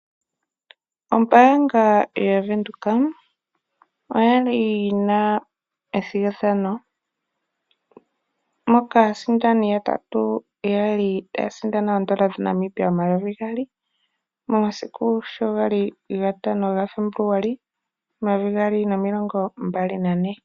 Ombaanga yaVenduka oyali yina ethigathano moka aasindani yatatu yali taya sindana oodola dhaNamibia omayovi gaali momasiku sho gali gatano gaFebuluali omayovi gaali nomilongo mbali nane.